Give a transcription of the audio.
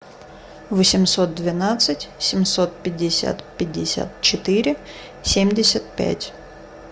восемьсот двенадцать семьсот пятьдесят пятьдесят четыре семьдесят пять